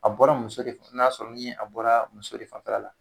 A bɔra muso de n'a sɔrɔ ni a bɔra muso de fanfɛla la.